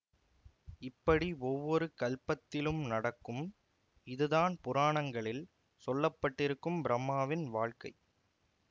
இப்படி ஒவ்வொரு கல்பத்திலும் நடக்கும் இதுதான் புராணங்களில் சொல்லப்பட்டிருக்கும் பிரம்மாவின் வாழ்க்கை